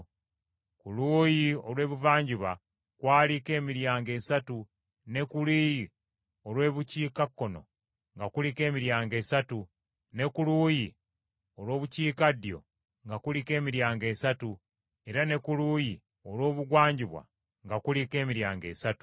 Ku luuyi olw’ebuvanjuba kwaliko emiryango esatu, ne ku luuyi olw’obukiikakkono nga kuliko emiryango esatu, ne ku luuyi olw’obukiikaddyo nga kuliko emiryango esatu, era ne ku luuyi olw’obugwanjuba nga kuliko emiryango esatu.